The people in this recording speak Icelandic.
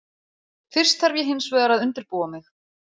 Fyrst þarf ég hinsvegar að undirbúa mig.